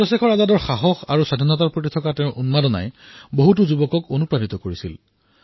চন্দ্ৰশেখৰ আজাদৰ সাহস আৰু স্বতন্ত্ৰতাৰ বাবে তেওঁ ইচ্ছা ইয়েই বহু তৰুণক প্ৰেৰণা দিছিল